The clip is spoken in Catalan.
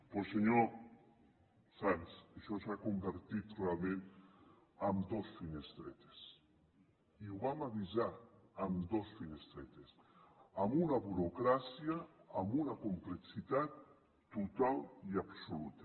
doncs senyor sanz això s’ha convertit realment en dos finestretes i ho vam avisar en dos finestretes amb una burocràcia amb una complexitat total i absoluta